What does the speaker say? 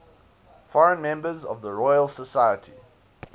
foreign members of the royal society